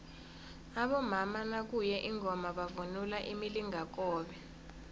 abomama nakuye ingoma bavunula imilingakobe